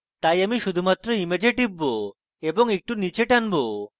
তাই আমি শুধুমাত্র image টিপব এবং একটু নীচে টানব